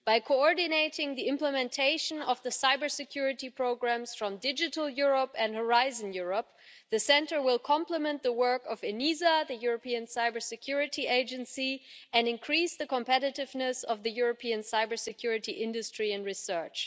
By coordinating the implementation of the cybersecurity programmes from Digital Europe and Horizon Europe, the Centre will complement the work of the European Union Agency for Network and Information Security and increase the competitiveness of the European cybersecurity industry and research.